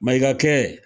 Mayigakɛ